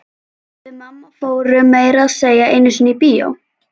Við mamma fórum meira að segja einu sinni í bíó.